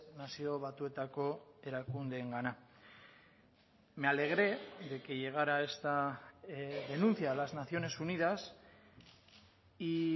nazio batuetako erakundeengana me alegré de que llegara esta denuncia a las naciones unidas y